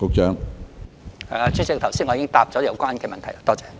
主席，我剛才已經回答有關問題。